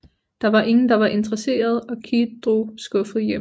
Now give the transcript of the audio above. Der var ingen der var interesserede og Keith drog skuffet hjem